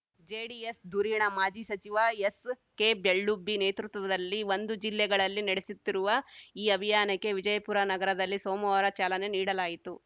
JDS ಧುರೀಣ ಮಾಜಿ ಸಚಿವ ಎಸ್‌ಕೆಬೆಳ್ಳುಬ್ಬಿ ನೇತೃತ್ವದಲ್ಲಿ ಒಂದು ಜಿಲ್ಲೆಗಳಲ್ಲಿ ನಡೆಸುತ್ತಿರುವ ಈ ಅಭಿಯಾನಕ್ಕೆ ವಿಜಯಪುರ ನಗರದಲ್ಲಿ ಸೋಮವಾರ ಚಾಲನೆ ನೀಡಲಾಯಿತು